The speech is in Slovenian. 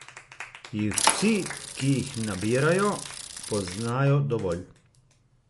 Jih vsi, ki jih nabirajo, poznajo dovolj?